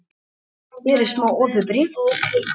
Hér er smá opið bréf til þín.